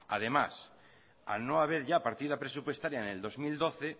además al no haber ya partida presupuestaria en el dos mil doce